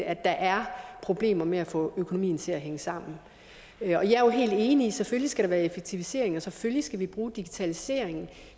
at der er problemer med at få økonomien til at hænge sammen jeg er helt enig i selvfølgelig skal være effektiviseringer selvfølgelig skal bruge digitaliseringen